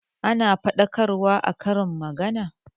Ana faɗakarwa a karin magana